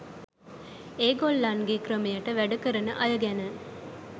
ඒගොල්ලන්ගේ ක්‍රමයට වැඩ කරන අය ගැන